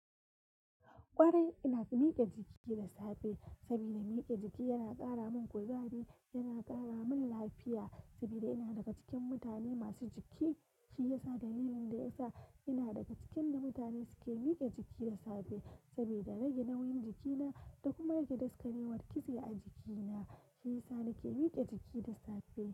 Kwarai ina miƙe jiki da safe saboda miƙe jiki yana ƙara min kuzari, yana ƙara min lafiya saboda ina daga cikin mutane masu jiki. Shi ya sa dalilin da ya sa ina daga cikin na mutane suke miƙe jiki da safe saboda rage nauyin jikina da kuma rage daskarewar kitse a jikina. Shi ya sa nake miƙe jiki da safe.